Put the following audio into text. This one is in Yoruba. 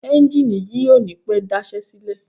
Ẹ́njìnì yìí ò ní pẹ́ daṣẹ́ sílẹ̀.